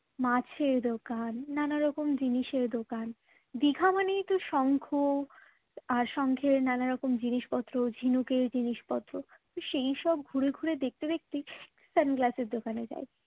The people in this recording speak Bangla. মাছের দোকান নানা রকম জিনিসের দোকান দীঘা মানেই তো শঙ্খ আর শঙ্খের নানারকম জিনিসপত্র ঝিনুকের জিনিসপত্র সেই সব ঘুরে ঘুরে দেখতে দেখতেই sunglass এর দোকানে যাই